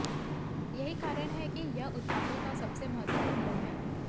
यही कारण है कि यह उत्पादों का सबसे महत्वपूर्ण गुण है